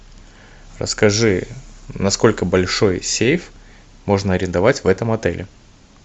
расскажи насколько большой сейф можно арендовать в этом отеле